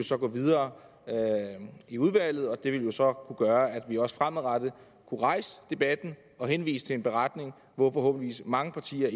så gå videre i udvalget og det ville så kunne gøre at vi også fremadrettet kunne rejse debatten og henvise til en beretning hvor forhåbentlig mange partier